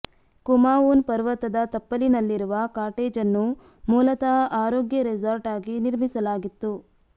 ಕುಮಾವೂನ್ ಪರ್ವತದ ತಪ್ಪಲಿನಲ್ಲಿರುವ ಕಾಟೇಜನ್ನು ಮೂಲತಃ ಆರೋಗ್ಯ ರೆಸಾರ್ಟ್ ಆಗಿ ನಿರ್ಮಿಸಲಾಗಿತ್ತು